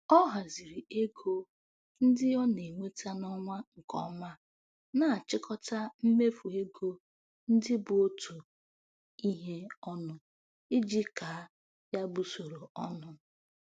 Ọ haziri ego ndị ọ na-enweta n'ọnwa nke ọma, na-achịkọta mmefu ego ndị bụ otu ihe ọnụ iji kaa ya bụ usoro ọnụ.